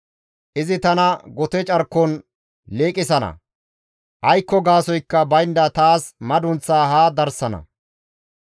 Izi tana gote carkon liiqisana; aykko gaasoykka baynda taas madunththaa ha darsana.